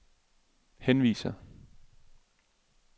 henviser